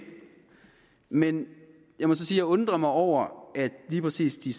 men jeg må så sige undrer mig over at lige præcis de